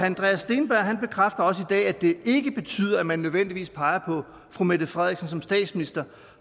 andreas steenberg bekræfter også i dag at det ikke betyder at man nødvendigvis peger på fru mette frederiksen som statsminister